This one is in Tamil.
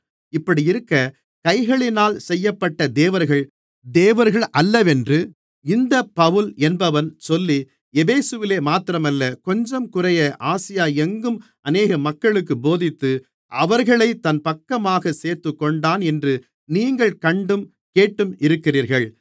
இப்படியிருக்க கைகளினால் செய்யப்பட்ட தேவர்கள் தேவர்களல்லவென்று இந்தப் பவுல் என்பவன் சொல்லி எபேசுவிலே மாத்திரமல்ல கொஞ்சங்குறைய ஆசியா எங்கும் அநேக மக்களுக்குப் போதித்து அவர்களைத் தன் பக்கமாகச் சேர்த்துக்கொண்டான் என்று நீங்கள் கண்டும் கேட்டும் இருக்கிறீர்கள்